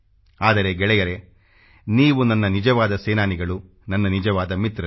ಆದರೆ ಗೆಳೆಯರೆ ನೀವು ನನ್ನ ನಿಜವಾದ ಸೇನಾನಿಗಳು ನನ್ನ ನಿಜವಾದ ಮಿತ್ರರು